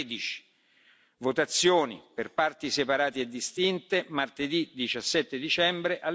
13. Votazioni per parti separate e distinte martedì 17 dicembre